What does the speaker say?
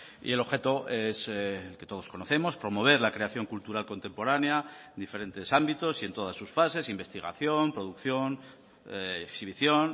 y el objeto es el que todos conocemos promover la creación cultural contemporánea en diferentes ámbitos y en todas sus fases investigación producción exhibición